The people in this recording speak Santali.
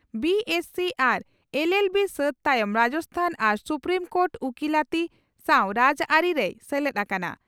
ᱵᱤᱹᱮᱥᱹᱥᱤ ᱟᱨ ᱮᱞᱹᱮᱞᱹᱵᱤ ᱥᱟᱹᱛ ᱛᱟᱭᱚᱢ ᱨᱟᱡᱚᱥᱛᱷᱟᱱ ᱟᱨ ᱥᱩᱯᱨᱤᱢ ᱠᱳᱴᱨᱮ ᱩᱠᱤᱞᱟᱹᱛᱤ ᱥᱟᱣ ᱨᱟᱡᱽᱟᱹᱨᱤ ᱨᱮᱭ ᱥᱮᱞᱮᱫ ᱟᱠᱟᱱᱟ ᱾